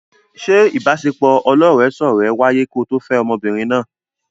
Ṣé ìbaṣepọ̀ ọlọ́rẹ̀ẹ́sọ́rẹ̀ẹ́ wáyé ko tó fẹ́ ọmọbìnrin náà?